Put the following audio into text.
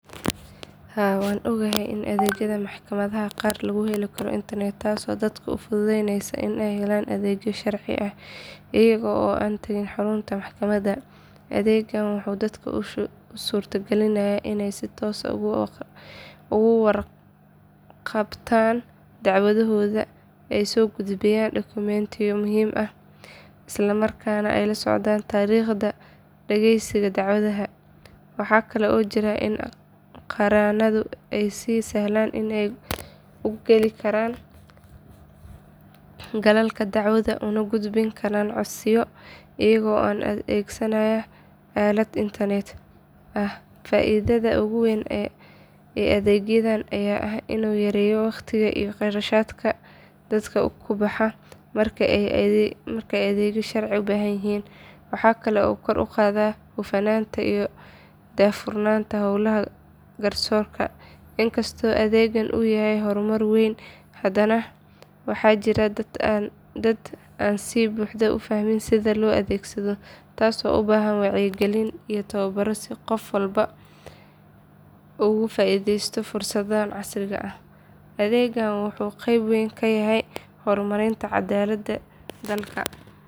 Haa waan ogahay in adeegyada maxkamadaha qaar lagu heli karo internet taasoo dadka u fududaynaysa inay helaan adeegyo sharci ah iyaga oo aan tagin xarunta maxkamadda. Adeeggan wuxuu dadka u suurtagelinayaa inay si toos ah uga warqabtaan dacwadahooda, ay soo gudbiyaan dokumentiyo muhiim ah, isla markaana ay la socdaan taariikhaha dhagaysiga dacwadaha. Waxaa kale oo jirta in qareenadu ay si sahlan u gali karaan galalka dacwadda una gudbin karaan codsiyo iyaga oo adeegsanaya aalad internet ah. Faa’iidada ugu weyn ee adeeggan ayaa ah inuu yareeyo waqtiga iyo qarashaadka dadka ku baxa marka ay adeegyo sharci u baahan yihiin. Waxaa kale oo uu kor u qaadaa hufnaanta iyo daahfurnaanta howlaha garsoorka. In kastoo adeeggan uu yahay horumar weyn, haddana waxaa jira dad aan si buuxda u fahmin sida loo adeegsado taasoo u baahan wacyigelin iyo tababaro si qof walba uu uga faa’iideysto fursaddan casriga ah. Adeeggan wuxuu qayb weyn ka yahay horumarinta cadaaladda dalka.